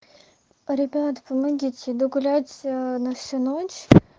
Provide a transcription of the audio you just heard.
ребят помогите иду гулять на всю ночь